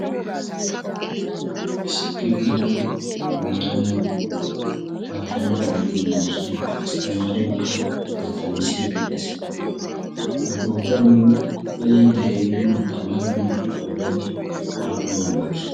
issi kifiliyan tamaare naati paatana oottii doosana asttamaareekka battanisi xees hageeta nu be'iiddi de'iyo tamaare naatu qooday aappunaa gakki